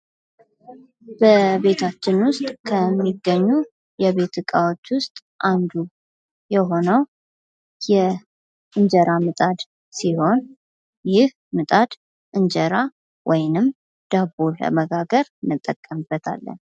በቤታችን ውስጥ ከሚገኙ የቤት ዕቃዎች ውስጥ አንዱ የሆነው የእንጀራ ምጣድ ሲሆን፤ ይህ ምጣድ እንጀራ ወይንም ዳቦ ለመጋገር እንጠቀምበታለን።